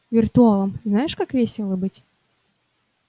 виртуалом знаешь как весело быть